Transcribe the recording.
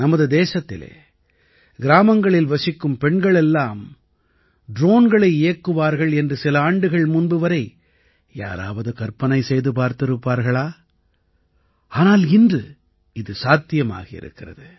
நமது தேசத்திலே கிராமங்களில் வசிக்கும் பெண்கள் எல்லாம் ட்ரோன்களை இயக்குவார்கள் என்று சில ஆண்டுகள் முன்பு வரை யாராவது கற்பனை செய்து பார்த்திருப்பார்களா ஆனால் இன்று இது சாத்தியமாகி இருக்கிறது